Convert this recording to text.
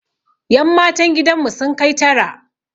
Yan matan gidan mu sun kai tara